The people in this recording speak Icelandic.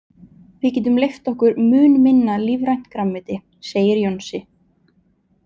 Við getum leyft okkur mun minna lífrænt grænmeti, segir Jónsi.